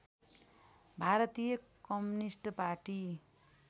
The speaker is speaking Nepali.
Bharatiya communist party